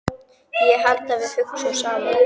Ég held að við hugsum saman.